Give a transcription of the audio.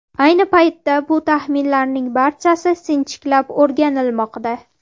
Ayni paytda bu taxminlarning barchasi sinchiklab o‘rganilmoqda.